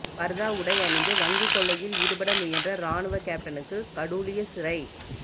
பர்தா உடை அணிந்து வங்கிக் கொள்ளையில் ஈடுபட முயன்ற இராணுவ கெப்டனுக்கு கடூழிய சிறை